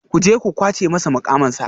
Ku je ku kwace masa mukamansa